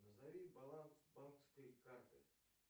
назови баланс банковской карты